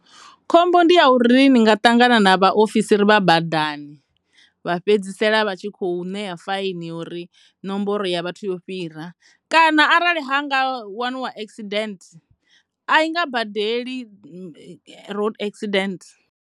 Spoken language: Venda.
Khomboni ndi ya uri ni nga ṱangana na vhaofisiri vha badani vha fhedzisela vha tshi kho ṋea faini ya uri nomboro ra ya vhathu yo fhira kana arali ha nga waniwa accident a i nga badeli road accident.